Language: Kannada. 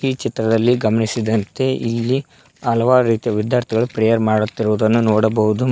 ಚಿತ್ರದಲ್ಲಿ ಗಮನಿಸಿದಂತೆ ಇಲ್ಲಿ ಹಲವಾರು ರೀತಿಯ ವಿದ್ಯಾರ್ಥಿಗಳು ಪ್ರೇಯರ್ ಮಾಡುತ್ತಿರುವುದನ್ನು ನೋಡಬಹುದು.